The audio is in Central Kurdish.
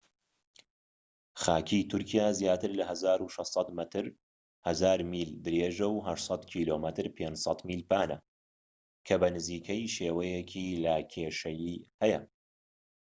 خاکی تورکیا زیاتر لە 1,600 مەتر 1000 میل درێژە و 800 کم 500 میل پانە، کە بە نزیکەیی شێوەیەکی لاکێشەیی هەیە